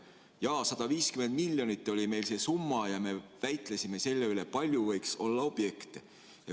Jaa, 150 miljonit oli meil see summa ja me väitlesime selle üle, kui palju võiks olla objekte.